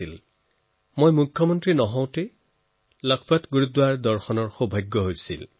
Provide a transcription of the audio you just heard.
তেতিয়া মই মুখ্যমন্ত্ৰী নাছিলো তেতিয়াও লখপত গুৰুদ্বাৰলৈ যোৱাৰ সুযোগ হৈছিল